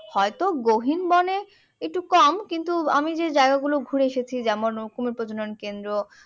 হয়তো বনে একটু কম কিন্তু আমি যে জায়গা গুলো ঘুরে এসেছি যেমন কুমীর প্রজনন কেন্দ্র